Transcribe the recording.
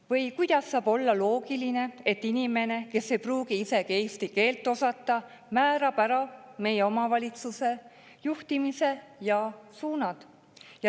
Või kuidas saab olla loogiline, et inimene, kes ei pruugi isegi eesti keelt osata, määrab ära meie omavalitsuse juhtimise ja suunad?